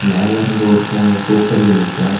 மேல இருந்து ஒருத்தன் அவன தூக்குறதுக்கு நிக்கா.